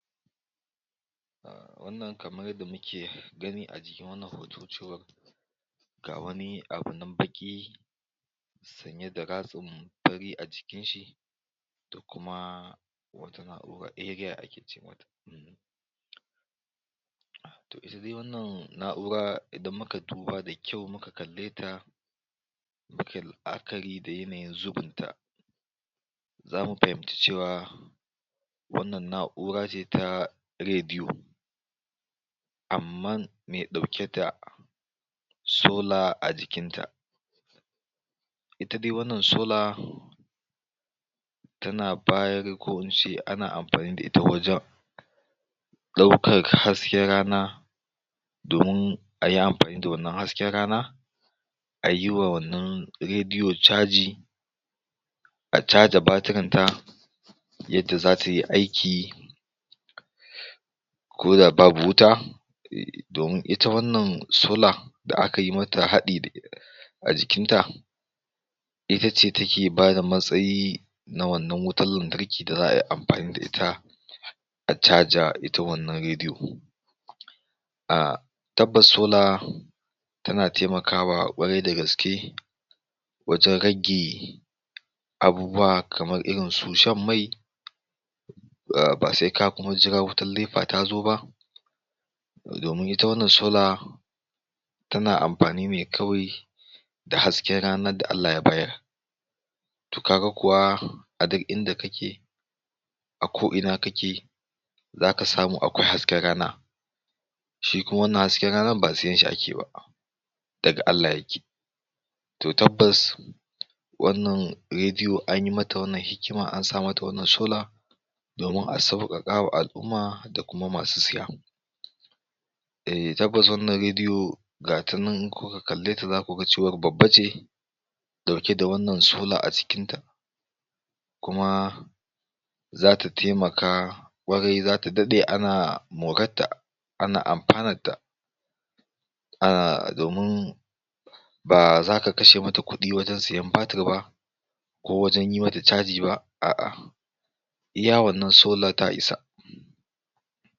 um Wannan kamar yadda muke gani a jikin wannan hoto cewa ga wani abu nan baƙi sanye da ratsin fari a jikin shi, da kuma wata na'ura area ake ce mata Toh, ita dai wannan na'ura idan muka duba da kyau, muka kalle ta mukai la'akari da yanayin zubun ta, za mu fahimci cewa wannan na'ura ce ta rediyo, amman me ɗauke da solar a jikin ta. Ita dai wannan solar tana bayar ko ince ana amfani da ita wajan ɗaukar hasken rana domin ayi amfani da wannan hasken rana a yi wa wannan rediyo caji, a caja batiran ta, yadda za tayi aiki ko da babu wuta um domun ita wannan solar da aka yi mata haɗi a jikinta, itace take bada matsayi na wannan wutan lantarki da za ayi amfani da ita a caja ita wannan rediyo. um Tabbas solar tana taimakawa ƙwarai da gaske wajan rage abubuwa kamar irinsu shan mai, um ba sai ka kuma ka jira wutar Nepa ta zo ba, domin ita wannan solar tana amfani ne kawai da hasken ranar da Allah ya bayar. Toh, ka ga kuwa a duk inda kake, a ko ina kake za ka samu akwai hasken rana. Shi kuma wannan hasken ranar ba sayen shi ake ba, daga Allah yake. Toh, tabbas wannan rediyo anyi mata wannan hikima, an sa mata wannan solar domin a sauƙaƙawa al'umma da kuma masu siya. Eh, tabbas wannan rediyo gata nan in kuka kalle ta zaku ga cewa babba ce ɗauke da wannan solar a jikinta, kuma zata taimaka ƙwarai zata daɗe ana moratta, ana amfanatta um domun ba zaka kashe mata kuɗi wajan sayan batir ba, ko wajan yi mata caji ba, a'a iya wannan solar ta isa.